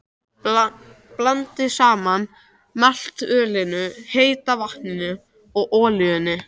Blandið saman maltölinu, heita vatninu og olíunni.